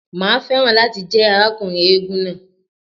Màá fẹ́ràn láti jẹ́ arákùnrin eégún náà.